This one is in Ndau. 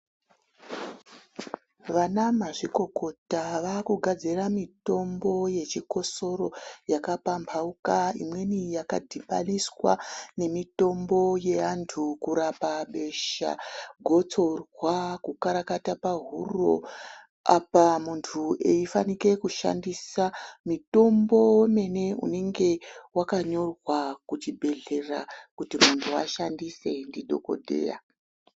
Vanamazvikokota vakugafzira mitombo yechikosoro yakapambauka imweni yakadhinaniswa nemitombo yeantu kurapa besha, Gotsorwa, kukarakata pahuro apa muntu eifanike kushandisa mitombo womene unenge wakanyorwa kuchibhedhlera kuti muntu ashandise ndidhokodheya.